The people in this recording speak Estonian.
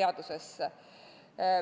teadusesse.